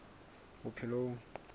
bophelong